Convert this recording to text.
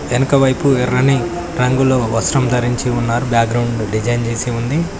వెనకవైపు ఎర్రని రంగులో వస్త్రం ధరించి ఉన్నారు బ్యాగ్రౌండ్ డిజైన్ చేసి ఉంది.